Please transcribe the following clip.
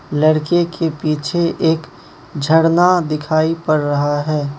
लड़के के पीछे एक झरना दिखाई पड़ रहा हैं।